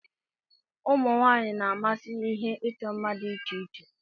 Ụmụ nwanyị na-amasị ihe ịchọ mma dị iche iche.